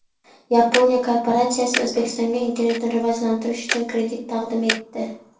Yaponiya korporatsiyasi O‘zbekistonga internetni rivojlantirish uchun kredit taqdim etdi.